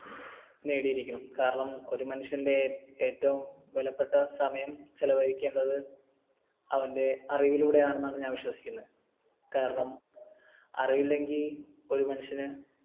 നേടിയിരിക്കണം കാരണം ഒരു മനുഷ്യൻറെ ഏറ്റവും വിലപ്പെട്ട സമയം ചെലവഴിക്കേണ്ടത് അവൻറെ അറിവിലൂടെയാണെന്നാണ് ഞാൻ വിശ്വസിക്കുന്നത് കാരണം അറിവില്ലെങ്കിൽ ഒരു മനുഷ്യന്